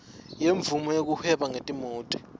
yemvumo yekuhweba ngetimoti